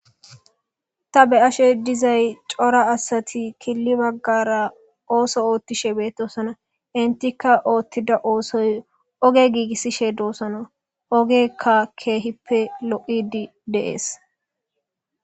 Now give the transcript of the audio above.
ta be ashe dizay cora asati killi baggara ooso oothtishe beettosona intikka oothtida oosoy oge giigissishe doossona ogekka keehippe lo7idi deees